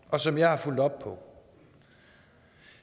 og som jeg har fulgt op på